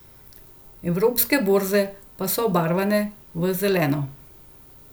Evropske borze pa so obarvane v zeleno.